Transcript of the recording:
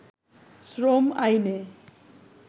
শ্রম আইনে